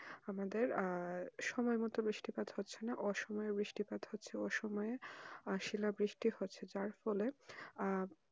আমাদের আহ সময় মতো বৃষ্টি পাত হচ্ছে না অসময়ে বৃষ্টি পাত হচ্ছে অসময়ে শিলা বৃষ্টি হচ্ছে তার ফলে আহ